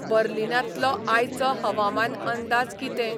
बर्लीनांतलो आयचो हवामान अंदाज कितें